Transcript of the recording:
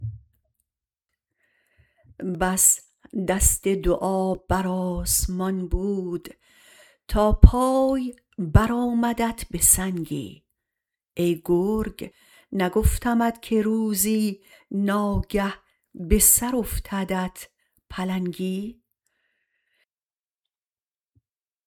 بس دست دعا بر آسمان بود تا پای برآمدت به سنگی ای گرگ نگفتمت که روزی ناگه به سر افتدت پلنگی